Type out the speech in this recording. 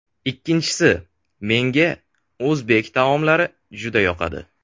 Ikkinchisi menga o‘zbek taomlari juda yoqadi.